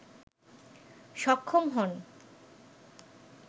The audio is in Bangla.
সক্ষম হন